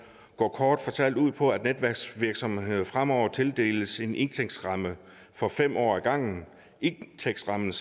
går kort fortalt ud på at elnetværksvirksomhederne fremover tildeles en indtægtsramme for fem år ad gangen en indtægtsramme